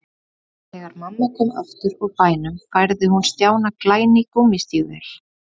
Þegar mamma kom aftur úr bænum færði hún Stjána glæný gúmmístígvél.